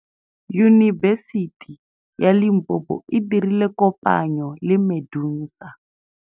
Yunibesiti ya Limpopo e dirile kopanyô le MEDUNSA.